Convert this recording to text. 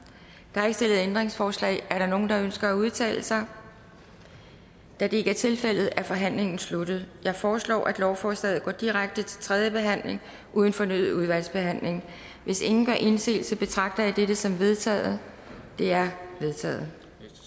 der er ikke stillet ændringsforslag er der nogen der ønsker at udtale sig da det ikke er tilfældet er forhandlingen sluttet jeg foreslår at lovforslaget går direkte til tredje behandling uden fornyet udvalgsbehandling hvis ingen gør indsigelse betragter jeg dette som vedtaget det er vedtaget